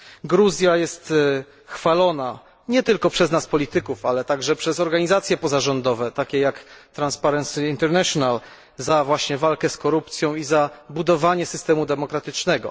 Gruzja jest chwalona nie tylko przez nas polityków, ale i przez organizacje pozarządowe, takie jak Transparency International właśnie za walkę z korupcją i za budowanie systemu demokratycznego.